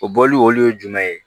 O bɔli olu ye jumɛn ye